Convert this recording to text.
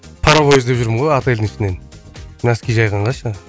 паровой іздеп жүрмін ғой отельдің ішінен носки жайғанға ше